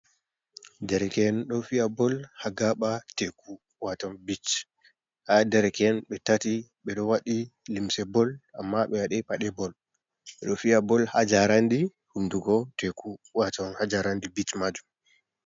Dereken ɗo fiya bol ha gaɓa teku, waton bich ha gaɓa teku, ɓe tati ɓeɗo waɗi limse bol amma ɓe waɗai pade bol, ɓeɗo fiya bol ha jarandi hunduko teku, waton hajarandi bech majum,